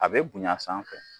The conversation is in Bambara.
A bɛ bonyan sanfɛ.